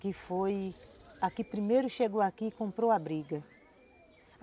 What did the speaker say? que foi a que primeiro chegou aqui e comprou a briga.